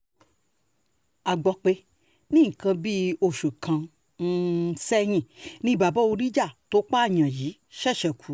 a gbọ́ pé ní nǹkan bíi oṣù kan um sẹ́yìn ni bàbá oríjà tó pààyàn yìí um ṣẹ̀ṣẹ̀ kú